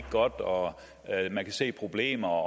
godt og at man kan se problemer